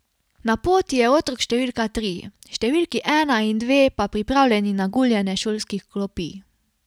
Na poti je otrok številka tri, številki ena in dve pa pripravljeni na guljenje šolskih klopi.